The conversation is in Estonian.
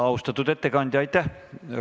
Austatud ettekandja, aitäh!